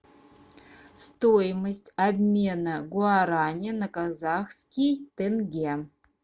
стоимость обмена гуарани на казахский тенге